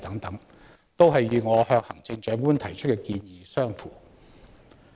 這些均與我向行政長官提出的建議相符。